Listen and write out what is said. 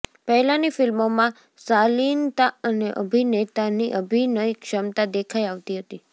પહેલાની ફિલ્મોમાં સાલિનતા અને અભિનેતાની અભિનય ક્ષમતા દેખાઇ આવતી હતી